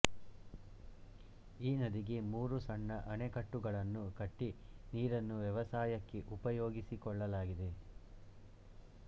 ಈ ನದಿಗೆ ಮೂರು ಸಣ್ಣ ಅಣೆಕಟ್ಟುಗಳನ್ನು ಕಟ್ಟಿ ನೀರನ್ನು ವ್ಯವಸಾಯಕ್ಕೆ ಉಪಯೋಗಿಸಿಕೊಳ್ಳಲಾಗಿದೆ